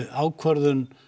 ákvörðun